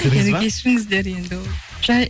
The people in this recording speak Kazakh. мені кешіріңіздер енді ол жай